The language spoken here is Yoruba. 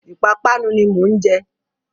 Ìpapánu ni mò ń jẹ.